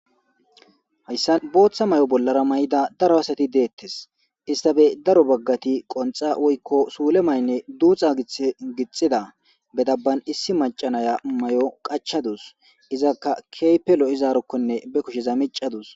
Hayysan bootha mayo bollara mayida daro asati detees isstape daro baggati qonxxa woyko suulle mayne duuxa githe gixxida; be dabban issi macca naya be mayo qaccadus izzaka keehipe lo'izaarokone be kusheza miccadus.